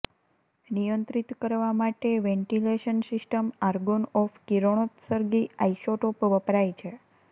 નિયંત્રિત કરવા માટે વેન્ટિલેશન સિસ્ટમ આર્ગોન ઓફ કિરણોત્સર્ગી આઇસોટોપ વપરાય છે